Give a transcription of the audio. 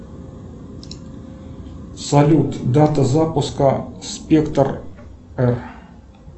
салют дата запуска спектр р